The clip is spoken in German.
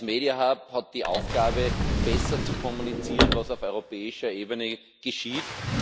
Der hat die Aufgabe, besser zu kommunizieren was auf europäischer Ebene geschieht.